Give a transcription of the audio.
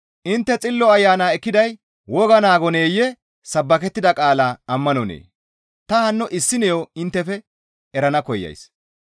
Intte Xillo Ayana ekkiday woga naagoneyee? Sabbakettida qaala ammanonee? Ta hanno issiniyo inttefe erana koyays.